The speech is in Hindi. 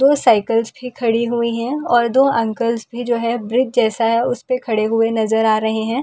दो साइकल्‍स भी खड़ी हुई है और दो अंकलस भी जो है ब्रज जैसा है उसपे खड़े हुए नजर आ रहे हैं और इस खूबसूरत--